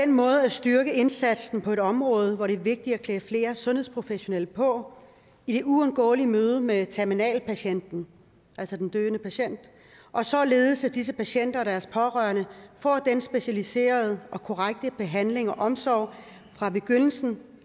måde at styrke indsatsen på et område hvor det er vigtigt at klæde flere sundhedsprofesionelle på i det uundgåelige møde med terminalpatienten altså den døende patient og således at disse patienter og deres pårørende får den specialiserede og korrekte behandling og omsorg fra begyndelsen